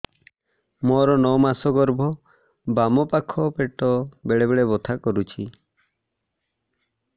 ମୋର ନଅ ମାସ ଗର୍ଭ ବାମ ପାଖ ପେଟ ବେଳେ ବେଳେ ବଥା କରୁଛି